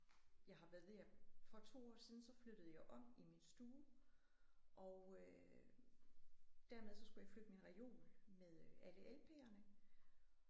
Jeg har været ved at for 2 år siden så flyttede jeg om i min stue og øh dermed så skulle jeg flytte min reol med alle lp'erne